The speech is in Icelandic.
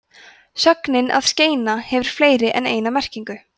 sögnin að skeina hefur fleiri en eina merkingu